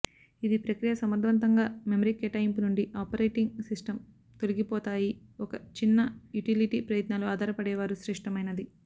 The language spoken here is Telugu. ఇది ప్రక్రియ సమర్థవంతంగా మెమరీ కేటాయింపు నుండి ఆపరేటింగ్ సిస్టమ్ తొలగిపోతాయి ఒక చిన్న యుటిలిటీ ప్రయత్నాలు ఆధారపడేవారు శ్రేష్టమైనది